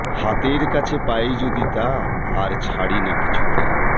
হাতের কাছে পাই যদি তা আর ছাড়ি না কিছুতে